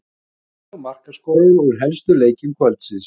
Úrslit og markaskorarar úr helstu leikjum kvöldsins: